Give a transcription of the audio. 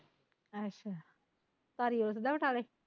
ਅੱਛਾ ਧਾਰੀ ਉਲਸਦਾ ਬਟਾਲੇ